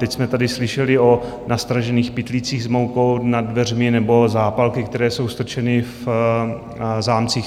Teď jsme tady slyšeli o nastražených pytlících s moukou nad dveřmi nebo zápalky, které jsou strčeny v zámcích.